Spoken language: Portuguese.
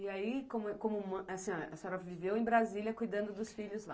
E aí, como como, a senhora a senhora viveu em Brasília, cuidando dos filhos lá.